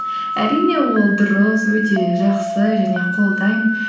әрине ол дұрыс өте жақсы және қолдаймын